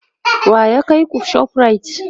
wa ya kaiku ShopRite?